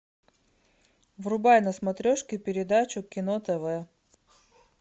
врубай на смотрешке передачу кино тв